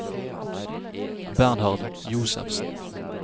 Bernhard Josefsen